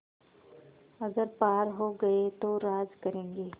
अगर पार हो गये तो राज करेंगे